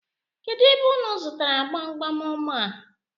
Kedụ ebe unu zụtara gbamgbam ọma a?